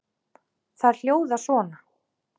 Þær hljóða svona